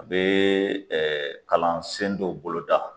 A bee ɛɛ kalansen dɔw boloda